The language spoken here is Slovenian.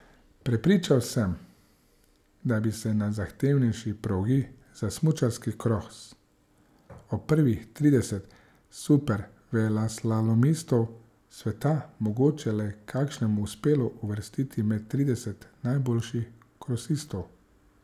Prepričan sem, da bi se na zahtevnejši progi za smučarski kros od prvih tridesetih superveleslalomistov sveta mogoče le kakšnemu uspelo uvrstiti med trideset najboljših krosistov.